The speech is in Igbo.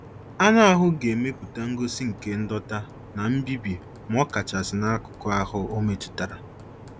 Anụ ahụ ga-emepụta ngosi nke ndọ̀ta na mbibi ma ọ kachasị n'akụkụ ahụ ọ metụtara